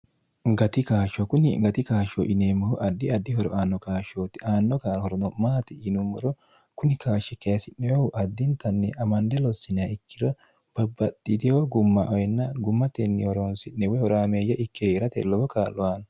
gati kaashsho kunni gati kaashsho yineemmohu addi addi horo aanno kaashshootti aanno horono maati yinummoro kuni kaashshi keesi'nehu addintanni amande lossinniha ikiro babbaxxiteo gumma oyenna gummatenni horoonsi'ne wehoraameeyye ikke heerate lowo kaallo aanno.